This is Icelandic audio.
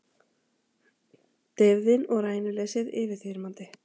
Deyfðin og rænuleysið yfirþyrmandi.